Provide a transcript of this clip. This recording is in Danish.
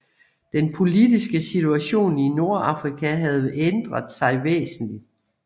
Den politiske situation i Nordafrika havde ændret sig væsentligt